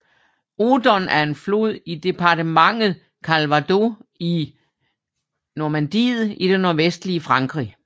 Odon er en flod i departementet Calvados i Normandiet i det nordvestlige Frankrig